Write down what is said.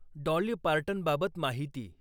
Dolly पार्टनबाबत माहिती